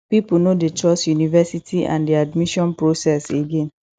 pipo no dey trust univerisity and di admission process again